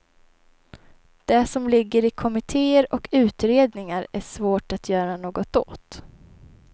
Det som ligger i kommitteer och utredningar är svårt att göra något åt.